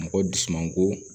Mɔgɔ dusumango